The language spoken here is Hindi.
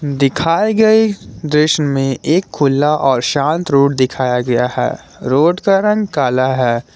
दिखाए गए दृश्य में एक खुला और शांत रोड दिखाया गया है रोड का रंग काला है।